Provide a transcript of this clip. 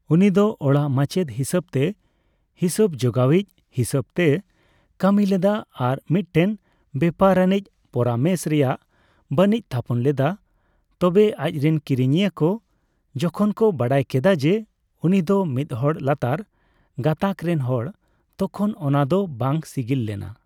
ᱩᱱᱤ ᱫᱚ ᱚᱲᱟᱜ ᱢᱟᱪᱮᱫ ᱦᱤᱥᱟᱹᱵᱛᱮ, ᱦᱤᱥᱟᱹᱵ ᱡᱚᱜᱟᱣᱤᱡ ᱦᱤᱥᱟᱹᱵ ᱛᱮ ᱠᱟᱹᱢᱤ ᱞᱮᱫᱟ ᱟᱨ ᱢᱤᱫᱴᱮᱱ ᱵᱮᱯᱟᱨᱟᱱᱤᱡ ᱯᱚᱨᱟᱢᱮᱥ ᱨᱮᱭᱟᱜ ᱵᱟᱹᱱᱤᱡ ᱛᱷᱟᱯᱚᱱ ᱞᱮᱫᱟ, ᱛᱚᱵᱮ ᱟᱪᱨᱮᱱ ᱠᱤᱨᱤᱧᱤᱭᱟᱹ ᱠᱚ ᱡᱚᱠᱷᱚᱱ ᱠᱚ ᱵᱟᱰᱟᱭ ᱠᱮᱫᱟ ᱡᱮ ᱩᱱᱤ ᱫᱚ ᱢᱤᱫᱦᱚᱲ ᱞᱟᱛᱟᱨ ᱜᱟᱛᱟᱠ ᱨᱮᱱ ᱦᱚᱲ ᱛᱚᱠᱷᱚᱱ ᱚᱱᱟᱫᱚ ᱵᱟᱝ ᱥᱤᱜᱤᱞ ᱞᱮᱱᱟ ᱾